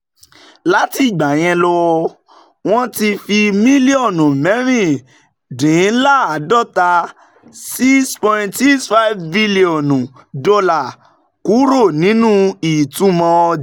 Láti ìgbà yẹn lọ, wọ́n ti fi mílíọ̀nù mẹ́rìndínláàádọ́ta [ six, sixty five bílíọ̀nù] dọ́là kúrò nínú ìtumọ̀ ọja